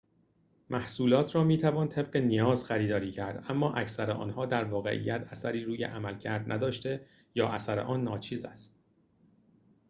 محصولات را می‌توان طبق نیاز خریداری کرد اما اکثر آنها در واقعیت اثری روی عملکرد نداشته یا اثر آن ناچیز است